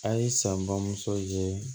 A' ye san bamuso ye